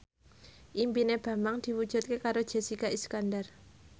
impine Bambang diwujudke karo Jessica Iskandar